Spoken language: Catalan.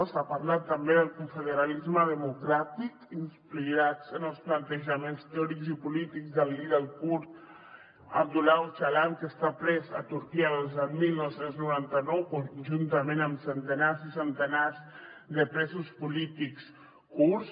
s’ha parlat també del confederalisme democràtic inspirat en els plantejaments teòrics i polítics del líder kurd abdullah öcalan que està pres a turquia des del dinou noranta nou juntament amb centenars i centenars de presos polítics kurds